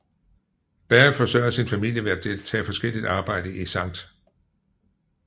Berry forsørgede sin familie ved at tage forskelligt arbejde i St